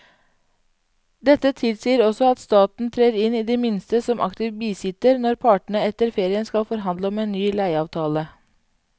Dette tilsier også at staten trer inn i det minste som aktiv bisitter når partene etter ferien skal forhandle om en ny leieavtale.